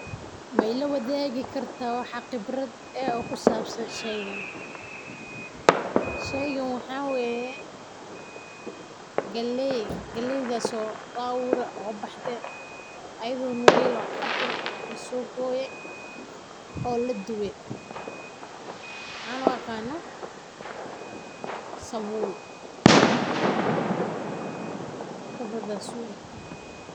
Mi ilawadaagi karta wax qibrad ah oo kusabsan sheygan, sheygan waxa weye galey, galeydas oo la ubure oo baxde ayado nugel ah oo cad weli lasogoye oo ladube waxan uqanah sabul.